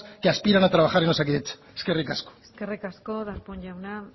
que aspiran a trabajar en osakidetza eskerrik asko eskerrik asko darpón jauna